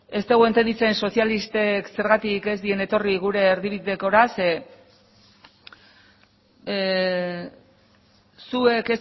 ez dugu entenditzen sozialistak zergatik ez diren etorri gure erdibidekora zeren zuek